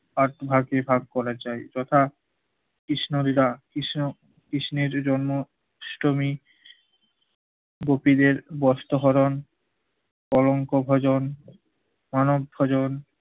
পাঁচ ভাগে ভাগ করেছেন, তথা- কৃষ্ণ লীলা, কৃষ্ণ কৃষ্ণের জন্য অষ্টমী গোপীদের বস্ত্র হরণ, কলঙ্ক ভজন, অনাথ ভজন